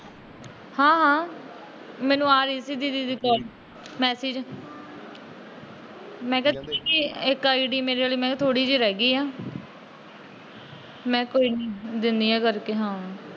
ਹਾਂ ਹਾਂ, ਮੈਨੂੰ ਆ ਰਹੀ ਸੀ ਦੀਦੀ ਦੀ ਕੋਲ, ਮੈਸਜ। ਮੈ ਕਿਹਾ ਏਕ ਆਈ ਡੀ ਮੇਰੇ ਵੱਲ ਥੋੜੀ ਜਿਹੀ ਰਹਿ ਗਈ ਏ। ਮੈ ਕੋਈ ਨਹੀਂ ਦਿੰਦੀ ਆ ਕਰਕੇ।